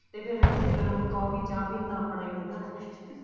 ਤੇ ਫਿਰ ਤੇ ਗਰਮ ਕੋਫ਼ੀ ਚਾਹ ਪੀਣ ਦਾ ਆਪਣਾ ਹੀ ਮਜ਼ਾ ਹੈ